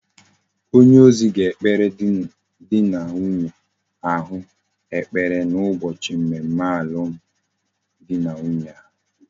Onye ozi ga ekpere di na nwunye ahu ekpere na ubochi mmemme alum di na nwunye ha